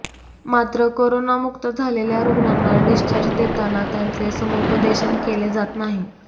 मात्र करोनामुक्त झालेल्या रुग्णांना डिस्चार्ज देताना त्यांचे समुपदेशन केले जात नाही